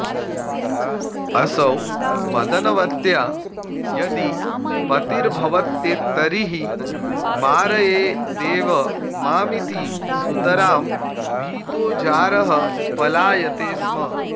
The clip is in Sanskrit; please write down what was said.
असौ मदनवत्या यदि पतिर्भवेत्तर्हि मारयेदेव मामिति सुतरां भीतो जारः पलायते स्म